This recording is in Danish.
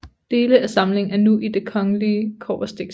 Dele af samlingen er nu i Den Kongelige Kobberstiksamling